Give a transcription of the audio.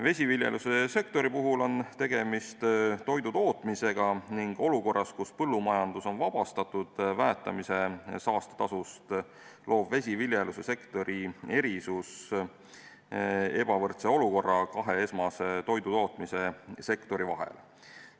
Vesiviljelussektoris on tegemist toidutootmisega ning olukorras, kus põllumajandus on vabastatud väetamise saastetasust, loob vesiviljelussektori erisus ebavõrdse olukorra kahe esmase toidutootmise sektori vahel.